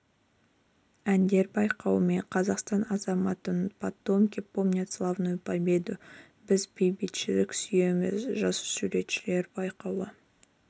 әндер байқауы мен қазақстан азаматымын потомки помнят славную победу біз бейбітшілікті сүйеміз жас суретшілер байқауы